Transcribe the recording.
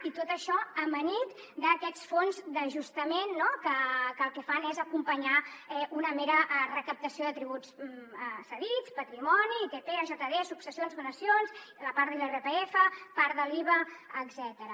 i tot això amanit amb aquests fons d’ajustament no que el que fan és acompanyar una mera recaptació de tributs cedits patrimoni itp iajd successions donacions part de l’irpf part de l’iva etcètera